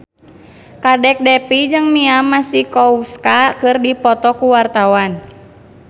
Kadek Devi jeung Mia Masikowska keur dipoto ku wartawan